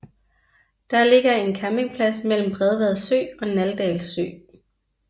Der ligger en campingplads mellem Bredvad Sø og Naldal Sø